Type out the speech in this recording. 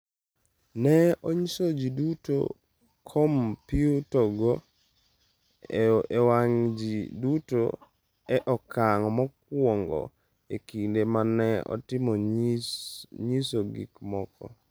Ne onyiso ji duto kompyutago e wang’ ji duto e okang’ mokwongo e kinde ma ne itimo nyiso gik moko.